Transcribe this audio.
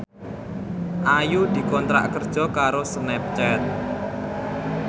Ayu dikontrak kerja karo Snapchat